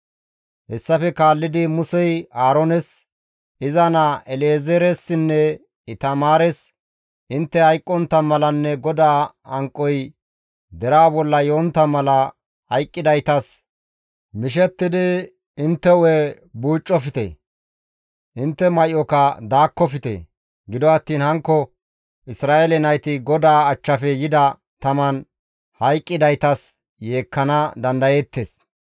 Hessafe kaallidi Musey Aaroones, iza naa El7ezeeressinne Itamaares, «Intte hayqqontta malanne GODAA hanqoy deraa bolla yontta mala hayqqidaytas mishettidi intte hu7e buucofte; intte may7oka daakkofte; gido attiin hankko Isra7eele nayti GODAA achchafe yida taman hayqqidaytas yeekkana dandayeettes.